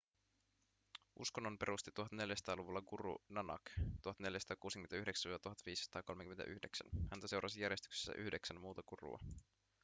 uskonnon perusti 1400-luvulla guru nanak 1469–1539. häntä seurasi järjestyksessä yhdeksän muuta gurua